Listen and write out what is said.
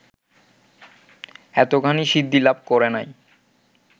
এতখানি সিদ্ধিলাভ করে নাই